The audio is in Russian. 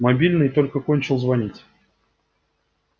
мобильный только кончил звонить